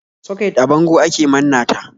Soket a bango ake manna ta.